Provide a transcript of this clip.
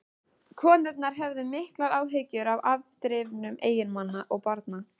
Konurnar höfðu miklar áhyggjur af afdrifum eiginmanna og barna.